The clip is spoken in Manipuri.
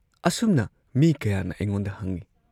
ꯑꯁꯨꯝꯅ ꯃꯤ ꯀꯌꯥꯅ ꯑꯩꯉꯣꯟꯗ ꯍꯪꯏ ꯫